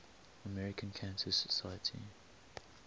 american cancer society